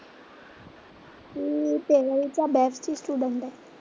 ती तेरावीच्या बॅच ची स्टुडंट आहे.